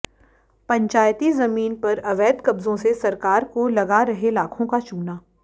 पंचायती जमीन पर अवैध कब्जों से सरकार को लगा रहे लाखों का चूना